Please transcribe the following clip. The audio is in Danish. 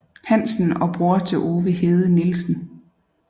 Hansen og bror til Ove Hede Nielsen